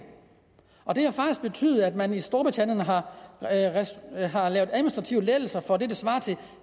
og det har faktisk betydet at man i storbritannien har har lavet administrative lettelser for det der svarer til